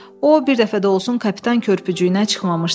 O bir dəfə də olsun kapitan körpücüyünə çıxmamışdı.